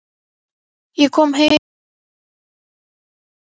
Ég kom heim fyrir tveimur árum.